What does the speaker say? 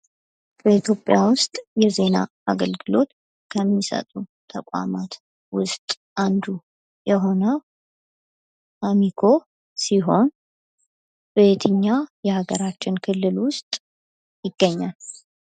በኢትዮጵያ ውስጥ የዜና አገልግሎት ከሚሰጡ ተቋማት ውስጥ አንዱ አሚኮ ሲሆን በየትኛው የሀገራችን ክልል ውስጥ ይገኛል?